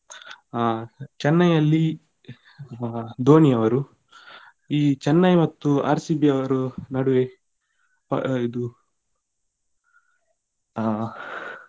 ಆ Chennai ಯಲ್ಲಿ ಆ ಧೋನಿಯವರು ಈ Chennai ಮತ್ತು RCB ಯವರ ನಡುವೆ ಇದು ಆ